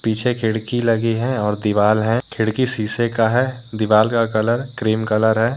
पीछे खिड़की लगी है और दीवाल है खिड़की शीशे का है दीवाल का कलर क्रीम कलर है।